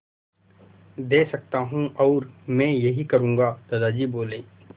दे सकता हूँ और मैं यही करूँगा दादाजी बोले